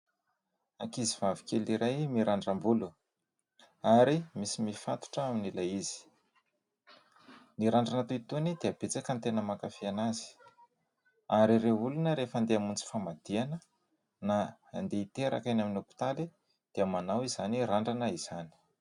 Ankizy vavy kely iray mirandram-bolo ary misy mifatotra amin'ilay izy. Ny randrana toy itony dia betsaka ny tena mankafy azy ary ireo olona rehefa andeha hamonjy famadihana na andeha hiteraka eny amin'ny hopitaly dia manao izany randrana izany.